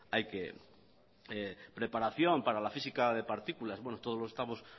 hay que preparación para la física de partículas bueno todos lo estamos